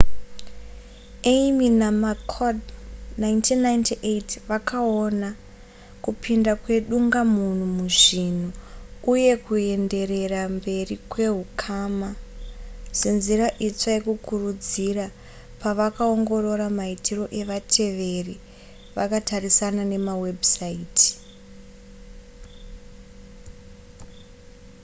eighmey namccord 1998 vakaona kupinda kwedungamunhu muzvinhu uye kuenderera mberi kwehukama senzira itsva yekukurudzira pavakaongorora maitiro evateveri vakatarisana nemawebhusaiti